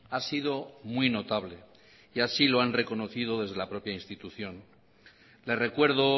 ha sido muy notable y así lo han reconocido desde la propia institución le recuerdo